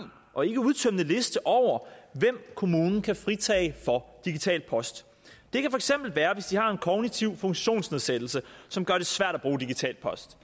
og ikkeudtømmende liste over hvem kommunen kan fritage for digital post det kan for eksempel være hvis de har en kognitiv funktionsnedsættelse som gør det svært at bruge digital post